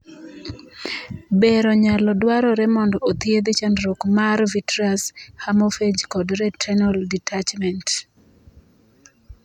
Bero nyalo dwarore mondo othiedhi chandruok mar vitreous hemorrhage kod retinal detachment.